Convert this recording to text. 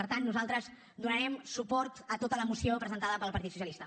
per tant nosaltres donarem suport a tota la moció presentada pel partit socialista